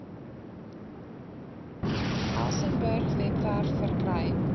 elsenburg webwerf verkry